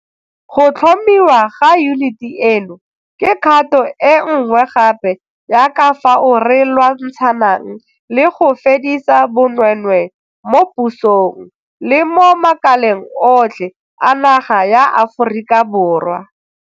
Go tlhomiwa ga yuniti eno ke kgato e nngwe gape ya ka fao re lwantshanang le go fedisa bonweenwee mo pusong le mo makaleng otlhe a naga ya Aforika Borwa.